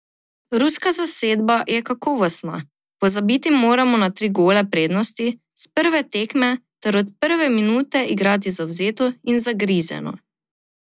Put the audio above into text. Ruska zasedba je kakovostna, pozabiti moramo na tri gole prednosti s prve tekme ter od prve minute igrati zavzeto in zagrizeno.